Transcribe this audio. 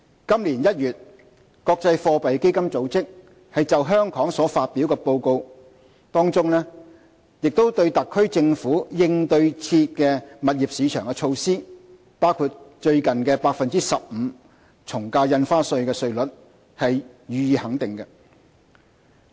今年1月，國際貨幣基金組織就香港所發表的報告，當中亦對特區政府應對熾熱的物業市場的措施，包括最近的 15% 從價印花稅稅率，予以肯定。